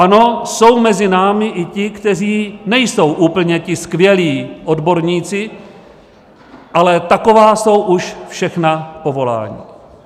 Ano, jsou mezi námi i ti, kteří nejsou úplně ti skvělí odborníci, ale taková jsou už všechna povolání.